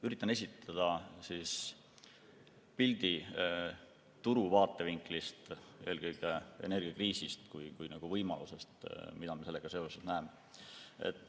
Üritan esitada pildi turu vaatevinklist, eelkõige energiakriisist kui võimalusest, mida me sellega seoses näeme.